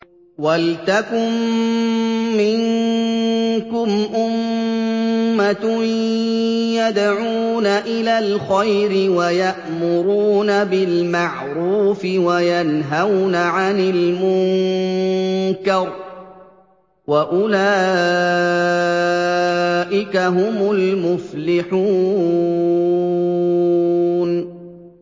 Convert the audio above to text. وَلْتَكُن مِّنكُمْ أُمَّةٌ يَدْعُونَ إِلَى الْخَيْرِ وَيَأْمُرُونَ بِالْمَعْرُوفِ وَيَنْهَوْنَ عَنِ الْمُنكَرِ ۚ وَأُولَٰئِكَ هُمُ الْمُفْلِحُونَ